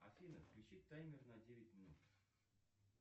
афина включи таймер на девять минут